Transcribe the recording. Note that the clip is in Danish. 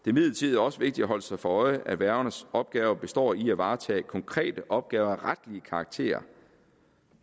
imidlertid også vigtigt at holde sig for øje at værgernes opgave består i at varetage konkrete opgaver af retlig karakter